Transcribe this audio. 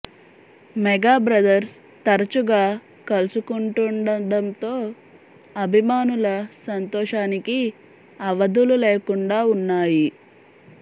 mega brothers తరచుగా కలుసుకుంటుండడంతో అభిమానుల సంతోషానికి అవధులు లేకుండా ఉన్నాయి